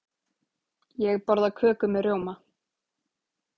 Ég borða köku með rjóma.